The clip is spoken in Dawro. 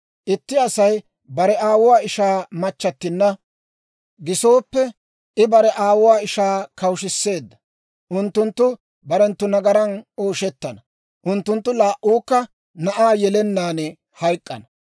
Itti Asay bare aawuwaa ishaa machchattinna gisooppe, I bare aawuwaa ishaa kawushshiseedda. Unttunttu barenttu nagaran ooshettana; unttunttu laa"uukka na'aa yelennaan hayk'k'ana.